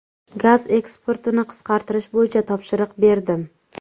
Gaz eksportini qisqartirish bo‘yicha topshiriq berdim.